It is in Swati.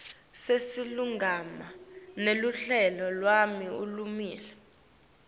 silulumagama neluhlelo lwelulwimi